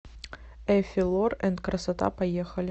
эффи лор энд красота поехали